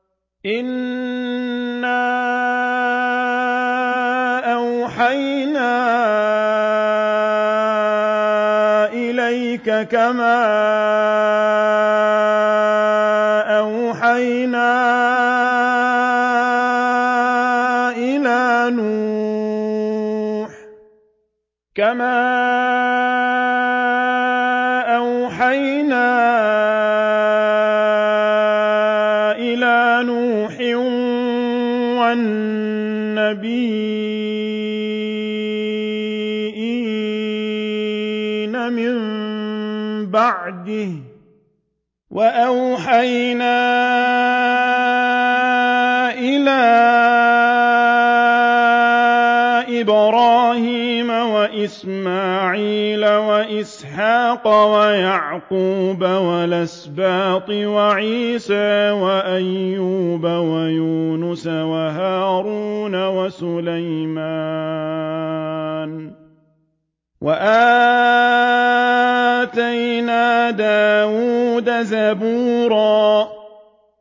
۞ إِنَّا أَوْحَيْنَا إِلَيْكَ كَمَا أَوْحَيْنَا إِلَىٰ نُوحٍ وَالنَّبِيِّينَ مِن بَعْدِهِ ۚ وَأَوْحَيْنَا إِلَىٰ إِبْرَاهِيمَ وَإِسْمَاعِيلَ وَإِسْحَاقَ وَيَعْقُوبَ وَالْأَسْبَاطِ وَعِيسَىٰ وَأَيُّوبَ وَيُونُسَ وَهَارُونَ وَسُلَيْمَانَ ۚ وَآتَيْنَا دَاوُودَ زَبُورًا